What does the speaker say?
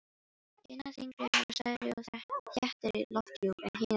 Hinar þyngri hafa stærri og þéttari lofthjúp en hinar léttari.